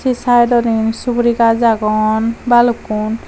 sydodi suguri gaj agon balukkun.